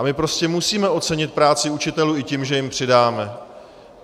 A my prostě musíme ocenit práci učitelů i tím, že jim přidáme.